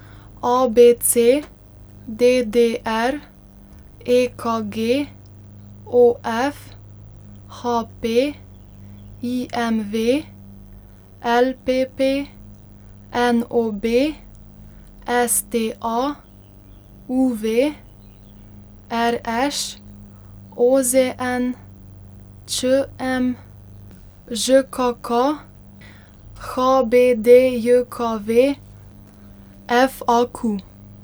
A B C; D D R; E K G; O F; H P; I M V; L P P; N O B; S T A; U V; R Š; O Z N; Č M; Ž K K; H B D J K V; F A Q.